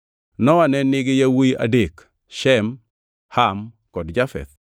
Nowa ne nigi yawuowi adek: Shem, Ham kod Jafeth.